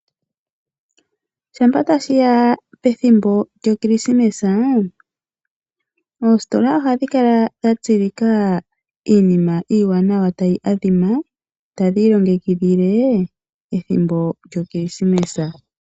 Shampa tashiya pethimbo lyokirisimesa oositola ohadhi kala dha tsilika iinima iiwanawa tayi adhima tadhi ilongekidhile ethimbo lyokirisimesa.